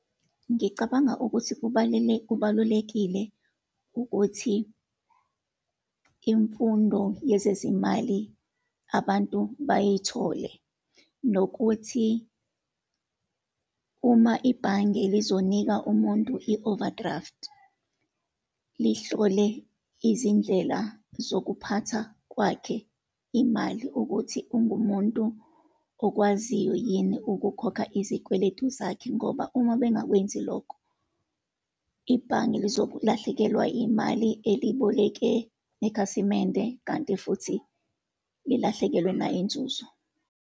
Ngicabanga ukuthi kubalulekile ukuthi imfundo yezezimali abantu bayithole, nokuthi uma ibhange lizonika umuntu i-overdraft, lihlole izindlela zokuphatha kwakhe imali, ukuthi ungumuntu okwaziyo yini ukukhokha izikweletu zakhe. Ngoba uma bengakwenzi lokho, ibhange lizokulahlekelwa imali eliyiboleke nekhasimende, kanti futhi lilahlekelwe nayinzuzo.